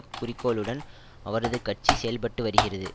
குறிக்கோளுடன் அவரது கட்சி செயல்பட்டு வருகிறது